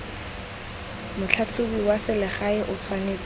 motlhatlhobi wa selegae o tshwanetse